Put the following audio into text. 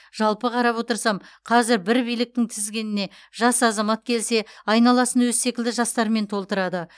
жалпы қарап отырсам қазір бір биліктің тізгініне жас азамат келсе айналасын өзі секілді жастармен толтырады